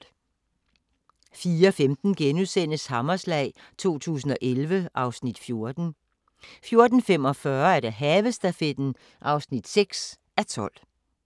04:15: Hammerslag 2011 (Afs. 14)* 04:45: Havestafetten (6:12)